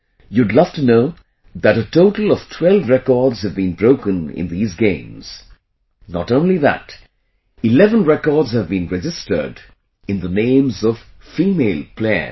You would love to know that a total of 12 records have been broken in these games not only that, 11 records have been registered in the names of female players